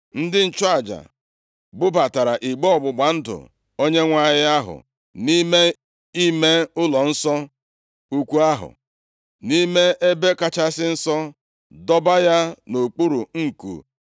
Ndị nchụaja bubatara igbe ọgbụgba ndụ Onyenwe anyị ahụ nʼime ime ụlọnsọ ukwu ahụ, nʼime Ebe Kachasị Nsọ, dọba ya nʼokpuru nku cherubim ahụ.